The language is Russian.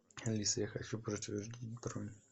алиса я хочу подтвердить бронь